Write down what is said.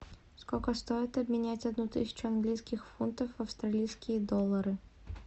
сколько стоит обменять одну тысячу английских фунтов в австралийские доллары